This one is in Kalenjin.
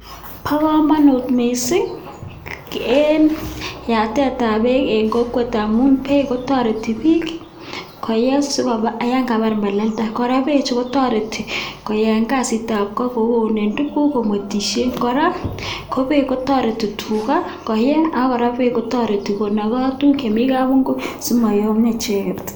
Bo kamanut missing eng yatetab beek eng kokwet amu beek kotore bik si koyee ya kabar melelda kora beechu kotoreti eng kazitab go kou kounen tuguk komwetishe. Kora ko beek kotoreti tuga koye ak kora beek kotoreti konokoi tuguk chemi kabungui si mayomio cheket.